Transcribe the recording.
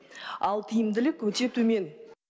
ал тиімділік өте төмен